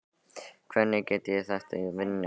Hvernig get ég þetta í vináttuleik?